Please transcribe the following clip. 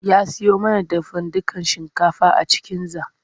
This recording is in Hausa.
Ya siyo mana dafadukan shinkafa a cikinza.